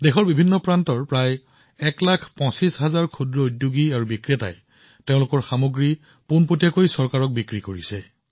দেশৰ প্ৰতিটো প্ৰান্তৰ পৰা প্ৰায় ১৫ লাখ ক্ষুদ্ৰ উদ্যোগী ক্ষুদ্ৰ দোকানীয়ে তেওঁলোকৰ সামগ্ৰী পোনপটীয়াকৈ চৰকাৰক বিক্ৰী কৰিছে